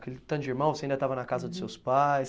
Aquele tanto de irmão, você ainda estava na casa dos seus pais?